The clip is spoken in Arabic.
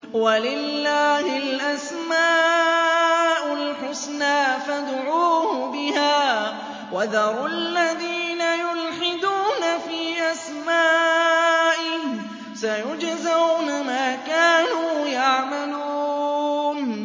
وَلِلَّهِ الْأَسْمَاءُ الْحُسْنَىٰ فَادْعُوهُ بِهَا ۖ وَذَرُوا الَّذِينَ يُلْحِدُونَ فِي أَسْمَائِهِ ۚ سَيُجْزَوْنَ مَا كَانُوا يَعْمَلُونَ